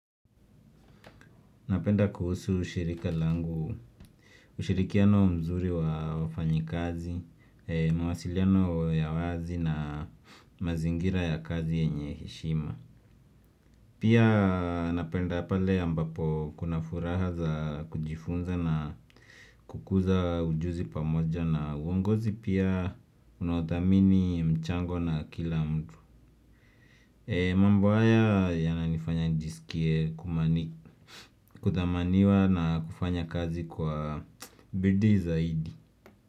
Napenda kuhusu ushirika langu, ushirikiano mzuri wa wafanyi kazi, mawasiliano ya wazi na mazingira ya kazi yenye heshima. Pia napenda pale ambapo kuna furaha za kujifunza na kukuza ujuzi pamoja na uongozi pia unaothamini mchango na kila mtu. Mambo haya ya na nifanya nijisikie kuthamaniwa na kufanya kazi kwa bidii zaidi.